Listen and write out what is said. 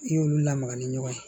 I y'olu lamaga ni ɲɔgɔn ye